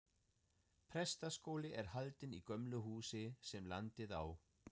Prestaskóli er haldinn í gömlu húsi, sem landið á.